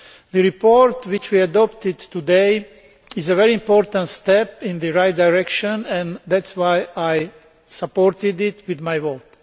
The report which we adopted today is a very important step in the right direction and that is why I supported it with my vote.